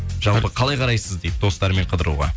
жалпы қалай қарайсыз дейді достарыммен қыдыруға